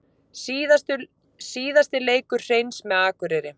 Síðasti leikur Hreins með Akureyri